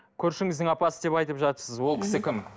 көршіңіздің апасы деп айтып жатырсыз ол кісі кім